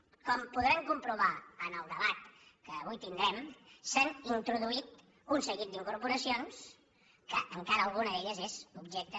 com podran comprovar en el debat que avui tindrem s’han introduït un seguit d’incorporacions que encara alguna d’elles és objecte